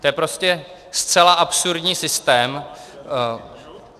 To je prostě zcela absurdní systém.